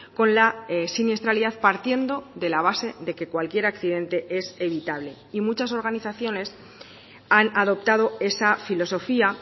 con la siniestralidad partiendo de la base de que cualquier accidente es evitable y muchas organizaciones han adoptado esa filosofía